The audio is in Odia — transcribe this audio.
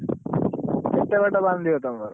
କେତେ ବାଟ ବାନ୍ଧିବ ତମର?